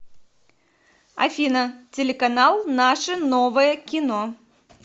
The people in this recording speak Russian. афина телеканал наше новое кино